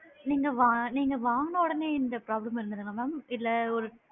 நீங்க வா நீங்க வாங்குன உடனே இந்த problem வந்ததா mam இல்ல ஒரு